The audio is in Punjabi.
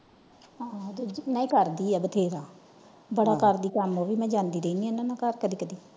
ਆਹ ਕਰਦੀ ਆ ਬਥੇਰਾ ਬੜਾ ਕਰਦੀ ਕੰਮ ਉਹ ਵੀ ਮੈਂ ਜਾਂਦੀ ਰਹਿਣੀ ਆ ਘਰ ਹਨ ਦੇ।